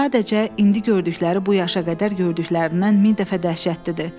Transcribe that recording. Sadəcə indi gördükləri bu yaşına qədər gördüklərindən min dəfə dəhşətlidir.